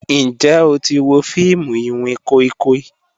Njẹ o ti wo fiimu iwin koi koi?